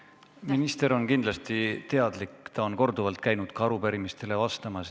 Minister on kindlasti sellest teadlik, ta on korduvalt käinud arupärimistele vastamas.